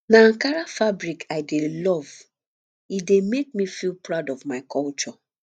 na ankara fabric i dey love e dey make me feel proud of my culture